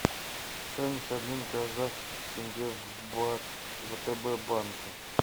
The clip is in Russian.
стоимость обмена казахских тенге в бат в втб банке